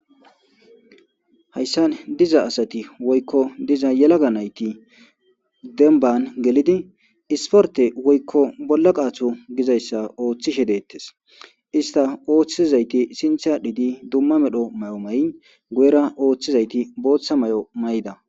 Hayssa diza asati woykko diza yelaga nayti dembban gelidi isporte woykko bolla qaatho gizayssa ooththishe deettes. Ista ooththizayti sintha aadhidi dumma medho mayo mayi guyera ooththizayti booththa mayo mayida.